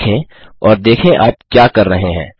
उसे देखें और देखें आप क्या कर रहे हैं